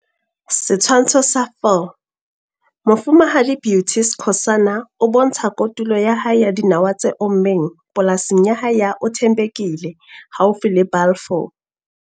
Setshwantsho sa 4. Mofumahadi Beauty Skhosana o bontsha kotulo ya hae ya dinawa tse ommeng polasing ya hae ya Uthembekile haufi le Balfour.